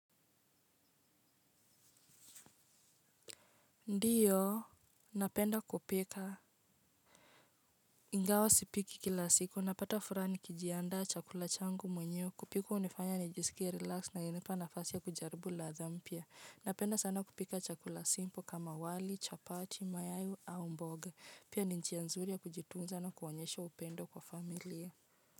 Ndiyo napenda kupika ingawa sipiki kila siku napata furaha nikijiandaa chakula changu mwenyewe kupika hunifanya nijisikie relaxed na inanipa nafasi ya kujaribu ladha mpya napenda sana kupika chakula simpo kama wali chapati mayai au mboga pia ni njia nzuri ya kujitunza na kuonyesha upendo kwa familia.